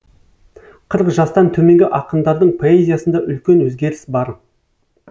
қырық жастан төменгі ақындардың поэзиясында үлкен өзгеріс бар